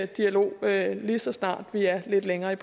dialog lige så snart vi er lidt længere i